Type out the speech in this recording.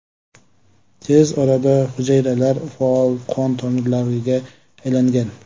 Tez orada hujayralar faol qon tomirlariga aylangan.